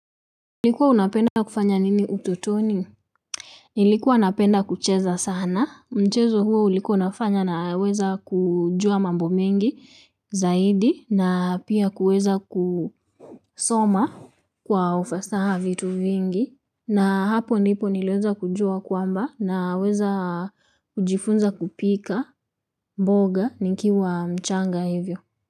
Likua unapenda kufanya nini utotoni? Nilikua napenda kucheza sana michezo huo ulikuwa nafanya naweza kujua mambo mingi, zaidi na pia kuweza kusoma kwa ufasaha vitu vingi na hapo ndipo nileweza kujua kwamba naweza jifunza kupika, mboga, nikiwa mchanga hivyo.